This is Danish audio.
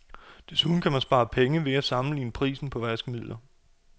Desuden kan man spare penge ved at sammenligne prisen på vaskemidler.